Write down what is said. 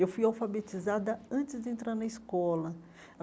Eu fui alfabetizada antes de entrar na escola.